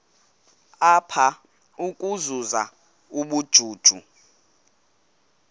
apha ukuzuza ubujuju